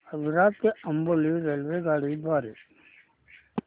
आजरा ते अंबोली रेल्वेगाडी द्वारे